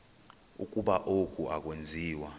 ukuba oku akwenziwa